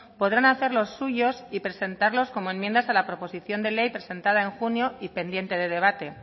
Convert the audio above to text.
podrán hacerlos suyos y presentarlos como enmiendas a la proposición de ley presentada en junio y pendiente de debate